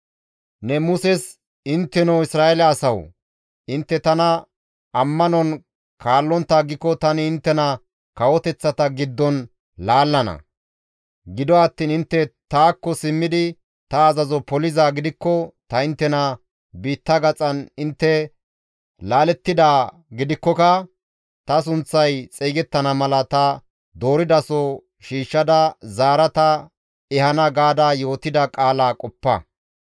«Ne Muses, ‹Intteno Isra7eele asawu! Intte tana ammanon kaallontta aggiko tani inttena kawoteththata giddon laallana; gido attiin intte taakko simmidi ta azazo polizaa gidikko ta inttena biitta gaxan intte laalettidaa gidikkoka ta sunththay xeygettana mala ta dooridaso shiishshada zaara ta ehana› gaada yootida qaala qoppa.